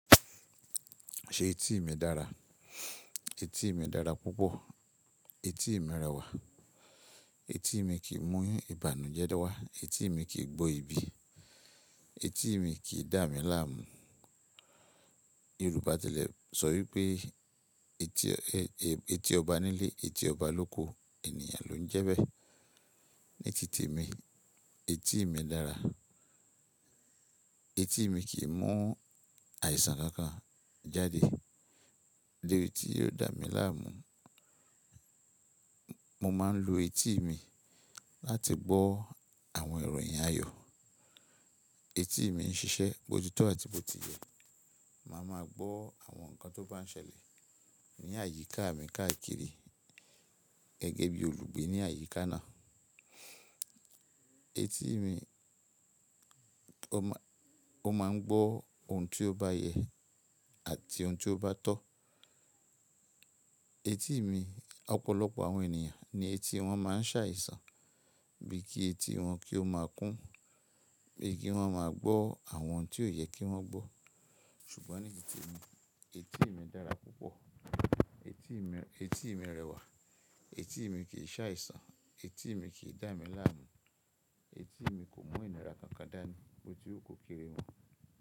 Ṣé etí mi dára? Etí mi dára púpọ̀, etí mi rẹwà, etí mi kì í mú ìbànújẹ́ wá, etí mi kì í gbó ibi, etí mi kì í dà mí láàmú. Yorùbá tẹ́lẹ̀ sọ wípé etí, etí ọba nílé, etí ọba lóko ènìyàn ló ń jẹ́bẹ́. Ní ti temi, etí mi dára, etí mi kì í mú àìsàn kankan jáde debi tí yóò dà mí láàmú. Mo máa ń lo etí mi láti gbọ́ àwọn ìròyìn ayọ̀. Etí mi ń ṣiṣẹ́, bó ti tọ́ àti bó ti yẹ. Ma ma gbọ́ àwọn nǹkan tó bá ń ṣẹlẹ̀ ní àyíká mi káàkiri. Gẹ́ gé bí olùgbé ní àyíká náà. Etí mi, ó ma, ó máa ń gbọ́ ohun tí ó bá yẹ àti ohun tí ó bá tọ́. Etí mi, ọ̀pọ̀lọpọ̀ àwọn ènìyàn ni etí wọn máa ń ṣàìsàn bíi kí etí wọn kí ó máa kún, bíi kí wọ́n máa gbọ́ àwọn ohun tí ó yẹ kí wọ́n gbọ́. Ṣùgbọ́n ní ti temi, etí mi dára púpọ̀, etí mi, etí mi rẹwà, etí mi kì í ṣàìsàn, etí mi kì í dà mí láàmú, etí mi kò mu ìnira kankan dá ni, bó ti hú ko kéré mọ.